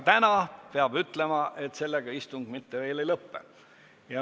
Täna peab ütlema, et sellega istung mitte veel ei lõpe.